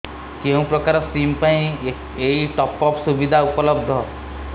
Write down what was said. କେଉଁ ପ୍ରକାର ସିମ୍ ପାଇଁ ଏଇ ଟପ୍ଅପ୍ ସୁବିଧା ଉପଲବ୍ଧ